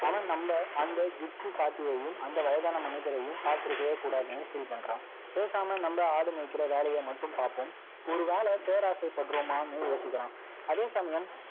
அவன் நம்ம, அந்த gypsie பாட்டியையும், அந்த வயதான மனிதரையும், பாத்திருக்கவே கூடாதுன்னு feel பண்றான். பேசாம, நம்ம ஆடு மேய்க்கிற வேலையை மட்டும் பார்ப்போம் ஒருவேளை, பேராசைப்படுறோமான்னு யோசிக்கலாம் அதே சமயம்